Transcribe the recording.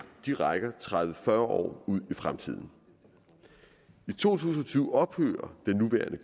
rækker tredive til fyrre år ud i fremtiden i to tusind og tyve ophører det nuværende